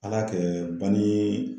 Ala kɛ bani